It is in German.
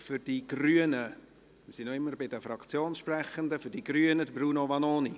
Für die Grünen – wir sind immer noch bei den Fraktionssprechenden – Bruno Vanoni.